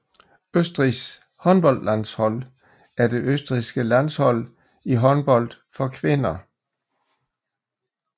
Østrigs håndboldlandshold er det østrigske landshold i håndbold for kvinder